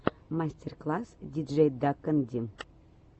мастер класс диджейдакэнди